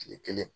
Kile kelen